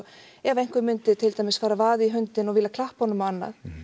ef einhver myndi til dæmis fara að vaða í hundinn og vilja klappa honum og annað